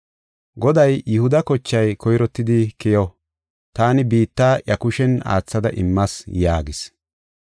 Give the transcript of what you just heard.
Goday, “Yihuda kochay koyrottidi keyo. Taani biitta iya kushen aathada immas” yaagis.